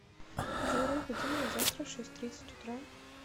джой разбуди меня завтра в шесть тридцать утра